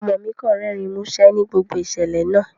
Ọmo mi kan rẹrin musẹ ni gbogbo iṣẹlẹ naa